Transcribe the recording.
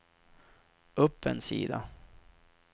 upp en sida